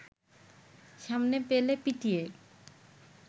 সামনে পেলে পিটিয়ে